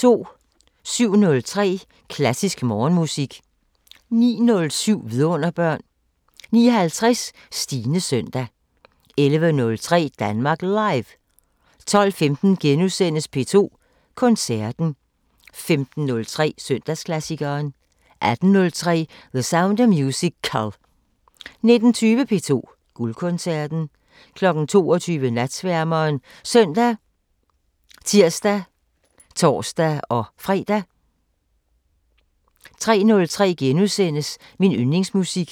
07:03: Klassisk Morgenmusik 09:07: Vidunderbørn 09:50: Stines søndag 11:03: Danmark Live 12:15: P2 Koncerten * 15:03: Søndagsklassikeren 18:03: The Sound of Musical 19:20: P2 Guldkoncerten 22:00: Natsværmeren ( søn, tir, tor-fre) 03:03: Min yndlingsmusik *